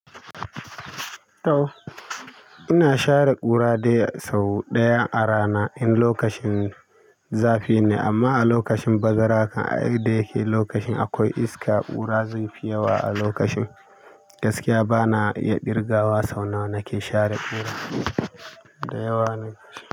Ina share ƙura dai sau ɗaya a rana in lokacin zafi ne, amma a lokacin bazara kan ai da yake lokacin akwai iska, ƙura zai fi yawa a lokacin. Gaskiya bana iya ƙirga wa sau nawa nake share ƙura, da yawa ne gaskiya.